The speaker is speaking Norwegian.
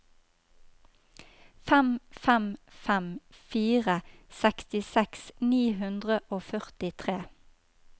fem fem fem fire sekstiseks ni hundre og førtitre